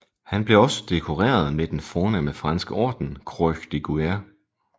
Han blev også dekoreret med den fornemme franske orden Croix de Guerre